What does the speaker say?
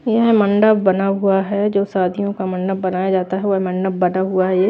यह मंडप बना हुआ है जो शादियों का मंडप बनाया जाता है वह मंडप बना हुआ है ये --